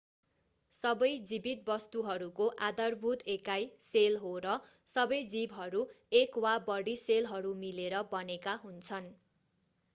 सबै जीवित वस्तुहरूको आधारभूत एकाइ सेल हो र सबै जीवहरू एक वा बढी सेलहरू मिलेर बनेका हुन्छन्